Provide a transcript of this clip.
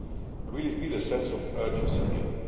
I really feel a sense of urgency here.